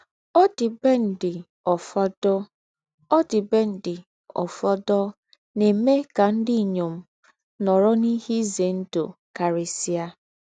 Ọ̀dìbèndị̀ ófọ̀dọ̀ Ọ̀dìbèndị̀ ófọ̀dọ̀ nà-èmè ká ndí́ ínyọm nọ̀rò n’íhé ízé ńdú kárísíá.